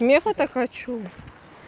нефа так хочу